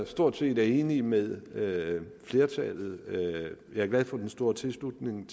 stort set enig med flertallet jeg er glad for den store tilslutning